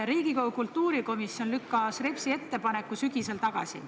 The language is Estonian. Riigikogu kultuurikomisjon lükkas Repsi ettepaneku sügisel tagasi.